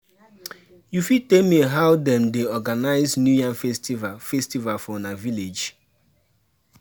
you fit tell me how them dey organize new yam festival festival for una village?